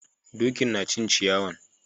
Dokin na cin ciyawan.